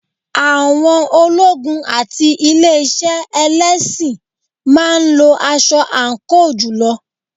Àwọn ológun àti ilé iṣẹ́ ẹlẹ́sìn máa ń lo aṣọ àǹkóò jùlọ.